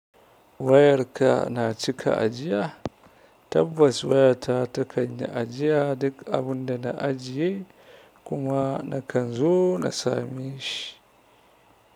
Wayarka na cika ajiya? Tabbas wayata ta kan yi ajiya duk abinda na ajiye kuma akan zo a sameshi.